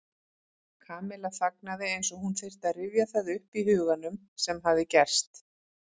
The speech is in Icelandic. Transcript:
Kamilla þagnaði eins og hún þyrfti að rifja það upp í huganum sem hafði gerst.